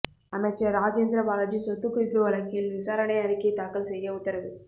அமைச்சர் ராஜேந்திர பாலாஜி சொத்துக்குவிப்பு வழக்கில் விசாரணை அறிக்கை தாக்கல் செய்ய உத்தரவு